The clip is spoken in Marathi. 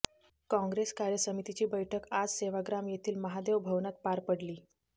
कॉंग्रेस कार्यसमितीची बैठक आज सेवाग्राम येथील महादेव भवनात पार पडली